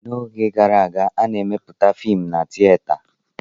N'oge gara aga, a na-emeputa fiim na tieta.